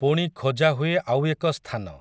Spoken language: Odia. ପୁଣି ଖୋଜା ହୁଏ ଆଉ ଏକ ସ୍ଥାନ ।